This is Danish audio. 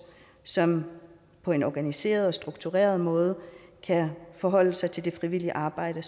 som på en organiseret og struktureret måde kan forholde sig til det frivillige arbejde